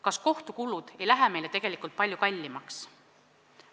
Kas kohtukulud ei lähe meile tegelikult palju kallimaks?